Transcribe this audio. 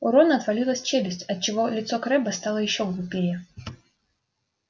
у рона отвалилась челюсть отчего лицо крэбба стало ещё глупее